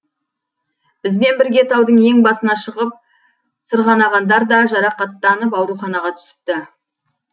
бізбен бірге таудың ең басына шығып сырғанағандар да жарақаттанып ауруханаға түсіпті